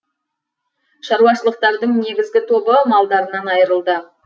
шаруашылықтардың негізгі тобы малдарынан айырылды